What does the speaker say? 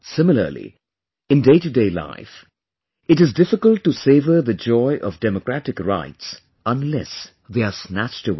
Similarly, in day to day life, it is difficult to savour the joy of democratic rights, unless they are snatched away